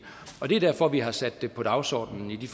og det er derfor vi har sat det på dagsordenen i de